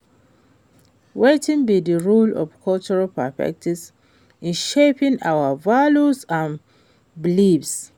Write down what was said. Wetin be di role of cultural perspectives in shaping our values and beliefs?